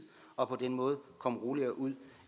og på den måde komme roligere ud